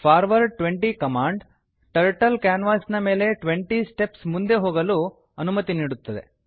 forward 20 command turtle ಕ್ಯಾನ್ವಾಸಿನ ಮೇಲೆ 20 steps ಮುಂದೆ ಹೋಗಲು ಅನುಮತಿ ನೀಡುತ್ತದೆ